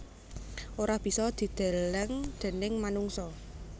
Ora bisa dideleng déning manungsa